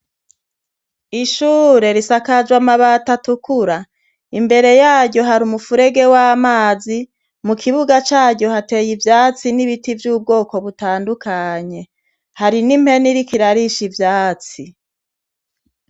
Ishure risakajw' amabat' atukura, imbere yaryo har' umfurege w' amazi, mu kibuga caryo hatey' ivyatsi, n' ibiti vy' ubwoko butandukanye hari n' impen' irik' irarish' ivyatsi.